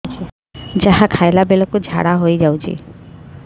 ଯାହା ଖାଇଲା ବେଳକୁ ଝାଡ଼ା ହୋଇ ଯାଉଛି